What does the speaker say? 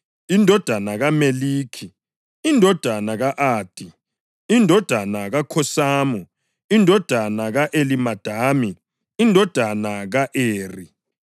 indodana kaMeliki, indodana ka-Adi, indodana kaKhosamu, indodana ka-Elimadami, indodana ka-Eri,